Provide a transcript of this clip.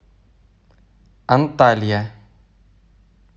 анталья